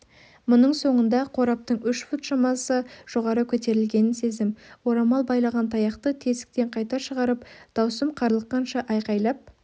мұның соңында қораптың үш фут шамасы жоғары көтерілгенін сездім орамал байлаған таяқты тесіктен қайта шығарып дауысым қарлыққанша айқайлап